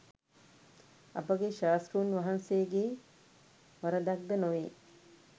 අපගේ ශාස්තෘන් වහන්සේගේ වරදක්ද නොවේ.